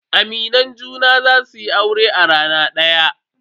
Aminan junan za su yi aure a rana daya.